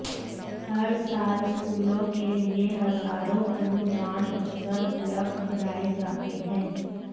हर साल स्कूलों के लिए हजारों अनुदान अवसर उपलब्ध कराए जाते हैं